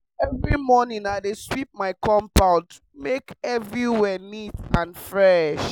every morning i dey sweep my compound make everywhere neat and fresh